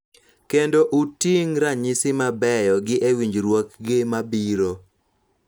Kendo uting� ranyisi mabeyo gi e winjruokgi mabiro.